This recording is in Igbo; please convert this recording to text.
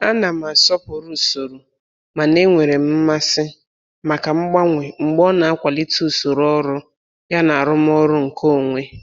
Ana m asọpụrụ usoro mana enwere m mmasị maka mgbanwe mgbe ọ na-akwalite usoro ọrụ yana arụmọrụ nkeonwe.